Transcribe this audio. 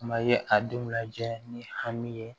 Kuma ye a denw lajɛ ni hami ye